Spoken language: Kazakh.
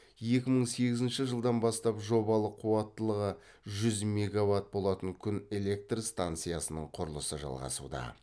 екі мың сегізінші жылдан бастап жобалық қуаттылығы жүз мегаватт болатын күн электр станциясының құрылысы жалғасуда